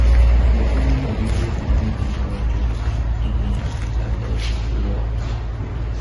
Japuonjno winjo gima nyithindo wacho ka ing'iyo kaka dhogi fulo wach.